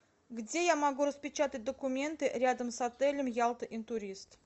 где я могу распечатать документы рядом с отелем ялта интурист